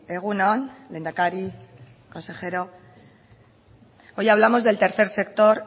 egun on lehendakari consejero hoy hablamos del tercer sector